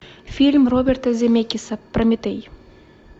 фильм роберта земекиса прометей